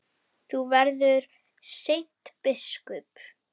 Þú verður seint biskup!